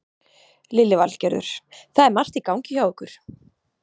Lillý Valgerður: Það er margt í gangi hjá ykkur?